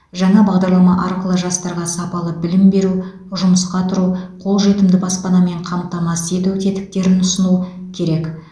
жаңа бағдарлама арқылы жастарға сапалы білім беру жұмысқа тұру қолжетімді баспанамен қамтамасыз ету тетіктерін ұсыну керек